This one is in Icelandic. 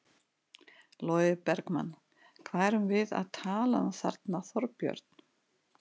Logi Bergmann: Hvað erum við að tala um þarna Þorbjörn?